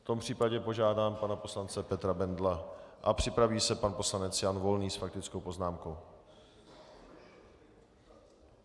V tom případě požádám pana poslance Petra Bendla a připraví se pan poslanec Jan Volný s faktickou poznámkou.